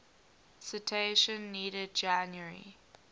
citation needed january